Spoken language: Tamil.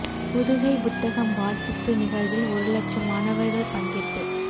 புதுகை புத்தகம் வாசிப்பு நிகழ்வில் ஒரு லட்சம் மாணவர்கள் பங்கேற்பு